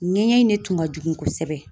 Ɲɛɲɛ in de tun ka jugu kosɛbɛ.